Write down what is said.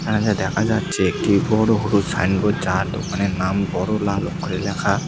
এখানে যা দেখা যাচ্ছে একটি বড়ো হলুদ সাইনবোর্ড যার দোকানের নাম বড়ো লাল অক্ষরে লেখা।